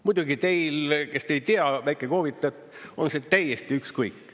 Muidugi teil, kes te ei tea väikekoovitajat, on see täiesti ükskõik.